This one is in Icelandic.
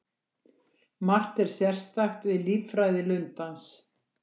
Margt er sérstakt við líffræði lundans.